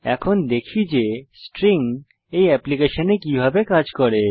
এখন দেখি যে স্ট্রিং এই অ্যাপ্লিকেশনে কিভাবে কাজ করে